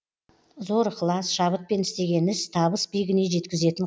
зор ықылас шабытпен істеген іс табыс биігіне жеткізетін